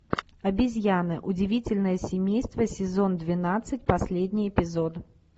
обезьяны удивительное семейство сезон двенадцать последний эпизод